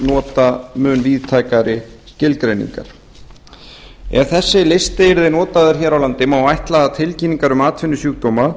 nota mun víðtækari skilgreiningar ef þessi listi yrði notaður hér á landi má ætla að tilkynningar um atvinnusjúkdóma